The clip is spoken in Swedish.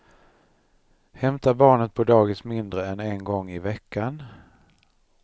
Hämtar barnet på dagis mindre än en gång i veckan.